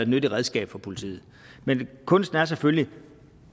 nyttigt redskab for politiet men kunsten er selvfølgelig